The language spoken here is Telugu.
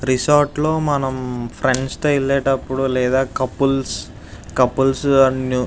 రిసార్ట్ లో మనం ఫ్రెండ్స్ తో వెళ్ళేటపుడు లేదా కౌపీల్స్ కౌపీల్స్ --